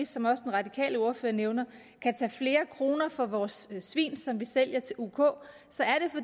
som også den radikale ordfører nævner kan tage flere kroner for vores svin som vi sælger til uk så er